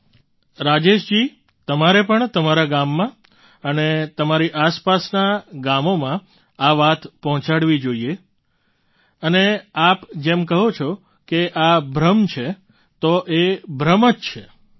પ્રધાનમંત્રીઃ રાજેશજી તમે પણ તમારા ગામમાં અને આસપાસના ગામમાં આ વાત પહોંચાડજો અને જેમ તમે કહો છો તેમ તે આ ભ્રણ છે તો એ ભ્રમ જ છે